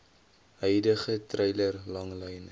huidige treiler langlyn